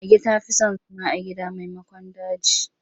Mage ta fi son zama a gida maimakon daji.